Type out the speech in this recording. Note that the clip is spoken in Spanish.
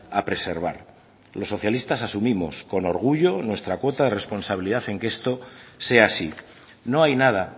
a preservar los socialistas asumimos con orgullo nuestra cuota de responsabilidad en que esto sea así no hay nada